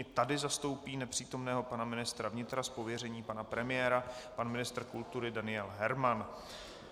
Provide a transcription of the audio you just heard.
I tady zastoupí nepřítomného pana ministra vnitra z pověření pana premiéra pan ministr kultury Daniel Herman.